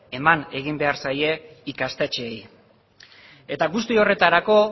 eman egin behar zaie ikastetxeei eta guzti horretarako